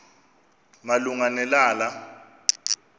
malunga ne lala